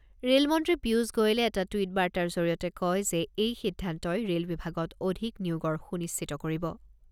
Rail মন্ত্ৰী পীয়ুষ গোৱেলে এটা টুইট বাৰ্তাৰ জৰিয়তে কয় যে এই সিদ্ধান্তই ৰে'ল বিভাগত অধিক নিয়োগৰ সুনিশ্চিত কৰিব।